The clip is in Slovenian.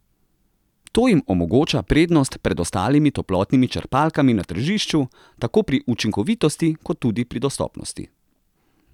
To jim omogoča prednost pred ostalimi toplotnimi črpalkami na tržišču, tako pri učinkovitosti, kot tudi pri dostopnosti.